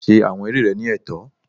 Ṣe awọn eré rẹ ni ẹtọ!